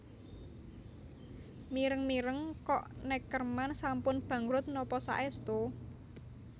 Mireng mireng kok Neckermann sampun bangkrut nopo saestu?